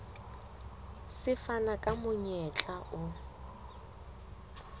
se fana ka monyetla o